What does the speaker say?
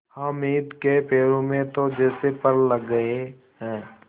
हामिद के पैरों में तो जैसे पर लग गए हैं